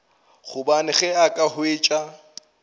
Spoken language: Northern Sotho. gobane ge a ka hwetša